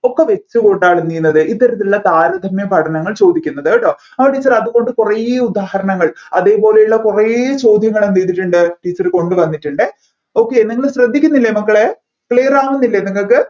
ഒക്കെ വെച്ചു കൂട്ടാനിരുന്നത് ഇത്തരത്തിലുള്ള താരതമ്യ പഠനങ്ങൾ ചോദിക്കുന്നത് കേട്ടോ അത് teacher അതുകൊണ്ട് കുറെ ഉദാഹരണൾ അതുപോലെയുള്ള കുറെ ചോദ്യങ്ങൾ എന്ത് ചെയ്തിട്ടുണ്ട് teacher കൊണ്ടുവന്നിട്ടുണ്ട് okay നിങ്ങൾ ശ്രദ്ധിക്കുന്നില്ല മക്കളെ clear ആവുന്നില്ല നിങ്ങൾക്ക്